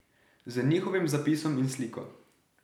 Z njihovim zapisom in sliko.